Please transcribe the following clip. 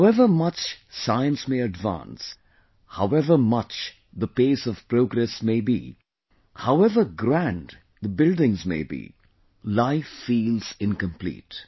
However much science may advance, however much the pace of progress may be, however grand the buildings may be, life feels incomplete